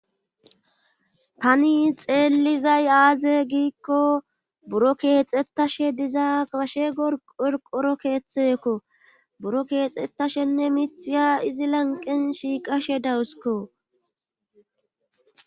Tani xeelizay aaze giikko buro keexxettashe diza ashe gorqoro keeththekko buro keexxettashenne mithiya izi lanqen shiiqashe dawusiko.